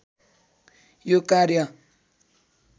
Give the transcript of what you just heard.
यो कार्य